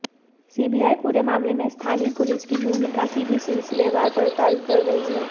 CBI पूरे मामले में स्थानीय पुलिस की भूमिका की भी सिलसिलेवार पड़ताल कर रही है